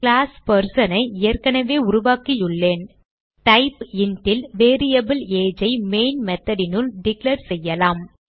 class Person ஐ ஏற்கனவே உருவாக்கியுள்ளேன் டைப் int ல் வேரியபிள் age ஐ மெயின் method னுள் டிக்ளேர் செய்யலாம்